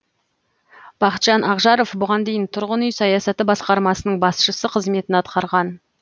бақытжан ақжаров бұған дейін тұрғын үй саясаты басқармасының басшысы қызметін атқарған